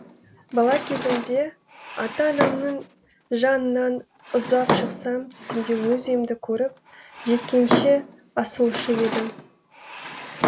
бала кезімде ата анамның жанынан ұзап шықсам түсімде өз үйімді көріп жеткенше асығушы едім